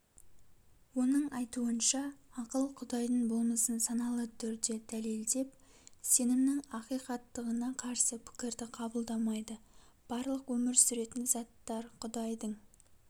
оның айтуынша ақыл құдайдың болмысын саналы түрде дәлелдеп сенімнің ақиқаттығына карсы пікірді қабылдамайды барлық өмір сүретін заттар құдайдың